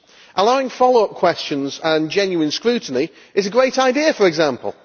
Allowing follow up questions and genuine scrutiny is a great idea, for example.